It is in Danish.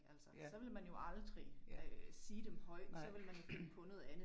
Altså så ville man jo aldrig sige dem højt, så ville man finde på noget andet